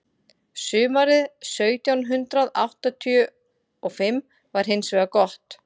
sumarið sautján hundrað áttatíu og fimm var hins vegar gott